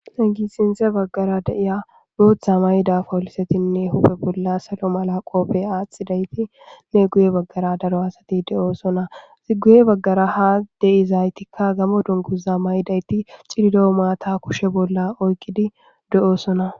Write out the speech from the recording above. Sinththe baggara de7iya booththaa mayida polisethinne huuphe bolla saro mala qophe aaththidaythinne guye baggara daro asathi de7oosona;ethi guye baggara ha de7izaythikka gamo dunguza mayidaythi cililo maathaa kushe bolla oykkidi de7oosona.